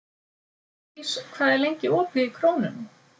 Védís, hvað er lengi opið í Krónunni?